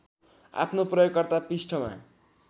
आफ्नो प्रयोगकर्ता पृष्ठमा